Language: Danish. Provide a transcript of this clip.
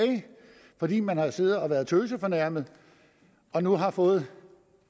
fordi man har siddet og været tøsefornærmet og nu har fået